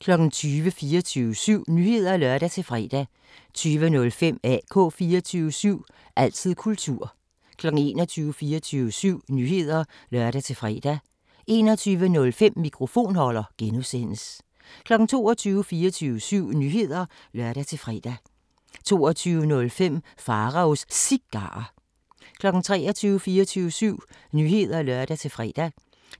20:00: 24syv Nyheder (lør-fre) 20:05: AK 24syv – altid kultur 21:00: 24syv Nyheder (lør-fre) 21:05: Mikrofonholder (G) 22:00: 24syv Nyheder (lør-fre) 22:05: Pharaos Cigarer 23:00: 24syv Nyheder (lør-fre)